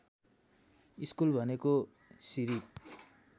school भनेको सिरिप